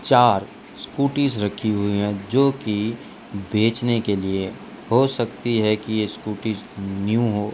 चार स्कूटीज रखी हुई है जोकि बेचने के लिए हो सकती है की ये स्कूटीज न्यू हो।